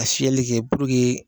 A fiyɛli kɛ